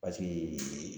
Paseke